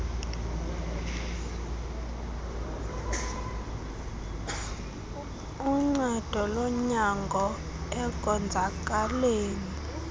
uncedo lonyango ekonzakaleni